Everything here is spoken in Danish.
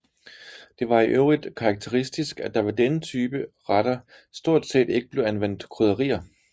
Det var i øvrigt karakteristisk at der ved denne type retter stort set ikke blev anvendt krydderier